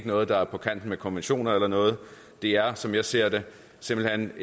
noget der er på kant med konventioner eller noget det er som jeg ser det simpelt